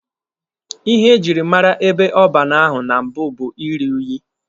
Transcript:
Ihe ejiri mara ebe ọban ahụ na mbụ bụ iri unyi.